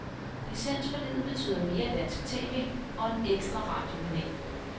Licensforliget betyder mere dansk tv og en ekstra radiokanal.